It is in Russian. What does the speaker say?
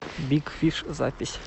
биг фиш запись